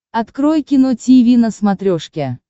открой кино тиви на смотрешке